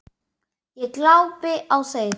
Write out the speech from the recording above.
Ég glápi á þau.